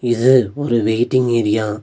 இது ஒரு waiting area .